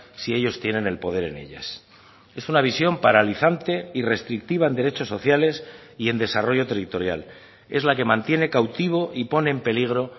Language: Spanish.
si ellos tienen el poder en ellas es una visión paralizante y restrictiva en derechos sociales y en desarrollo territorial es la que mantiene cautivo y pone en peligro